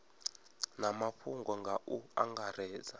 na mafhungo nga u angaredza